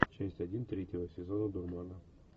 часть один третьего сезона дурмана